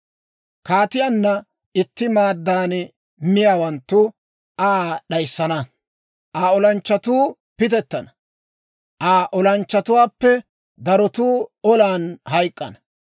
Kaatiyaanna itti maaddan miyaawanttu Aa d'ayssana; Aa olanchchatuu pitettana; Aa olanchchatuwaappe darotuu olan hayk'k'ana.